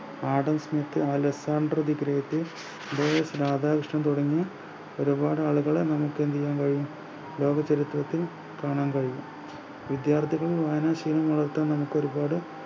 Adam Smith Alexander the great ദേ രാധാകൃഷ്ണൻ തുടങ്ങിയ ഒരുപാട് ആളുകളെ നമുക്ക് എന്ത്ചെയ്യാൻ കഴിയും ലോകചരിത്രത്തിൽ കാണാൻ കഴിയും വിദ്യാർഥികൾ വായനാശീലങ്ങൾ നമുക്ക് ഒരുപാട്